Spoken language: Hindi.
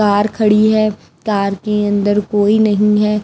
कार खड़ी है कार के अंदर कोई नहीं है।